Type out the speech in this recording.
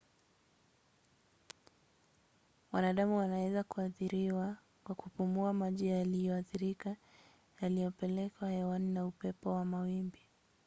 wanadamu waweza kuathiriwa kwa kupumua maji yaliyoathirika yaliyopelekwa hewani na upepo na mawimbi